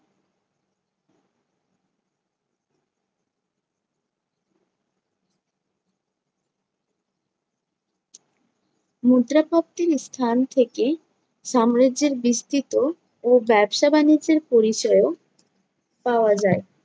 মুদ্রা প্রাপ্তির স্থান থেকে সাম্রাজ্যের বিস্তৃত ও ব্যবসা-বাণিজ্যের পরিচয়ও পাওয়া যায়।